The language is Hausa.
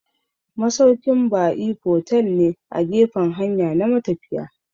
Masaukin ba'i fotel ne a gefan hanya na matafiya